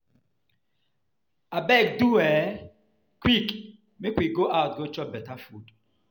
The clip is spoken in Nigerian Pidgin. Abeg do um quick make we go out go chop beta food.